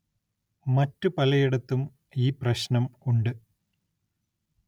മറ്റ് പലയിടത്തും ഈ പ്രശ്നം ഉണ്ട്